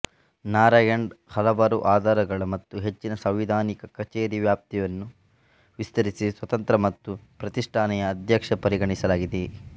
ನಾರಾಯಣನ್ ಹಲವಾರು ಆಧಾರಗಳ ಮತ್ತು ಹೆಚ್ಚಿನ ಸಾಂವಿಧಾನಿಕ ಕಚೇರಿ ವ್ಯಾಪ್ತಿಯನ್ನು ವಿಸ್ತರಿಸಿ ಸ್ವತಂತ್ರ ಮತ್ತು ಪ್ರತಿಷ್ಠಾಪನೆಯ ಅಧ್ಯಕ್ಷ ಪರಿಗಣಿಸಲಾಗಿದೆ